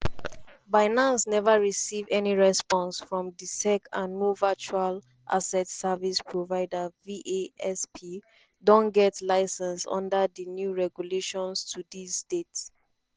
binance neva receive any response from di sec and no virtual asset service provider (vasp) don get license under di new regulations to dis date.”